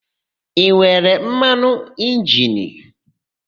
I nwere mmanụ injini?